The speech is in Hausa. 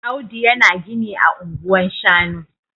Audu yana gini ah anguwan shanu